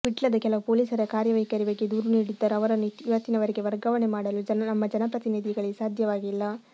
ವಿಟ್ಲದ ಕೆಲವು ಪೊಲೀಸರ ಕಾರ್ಯವೈಖರಿ ಬಗ್ಗೆ ದೂರು ನೀಡಿದ್ದರೂ ಅವರನ್ನು ಇವತ್ತಿನವರೆಗೆ ವರ್ಗಾವಣೆ ಮಾಡಲು ನಮ್ಮ ಜನಪ್ರತಿನಿಧಿಗಳಿಗೆ ಸಾಧ್ಯವಾಗಿಲ್ಲ